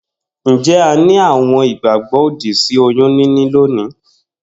Njé a ni àwon ìgbàgbó òdì sí oyún níní lónìí?